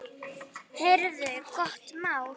Heyrðu, gott mál!